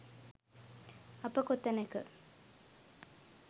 අප කොතැනක